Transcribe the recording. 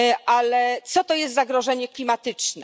Ale co to jest zagrożenie klimatyczne?